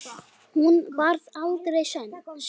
Hún varð aldrei söm.